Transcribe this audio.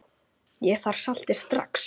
Ég þarf saltið strax.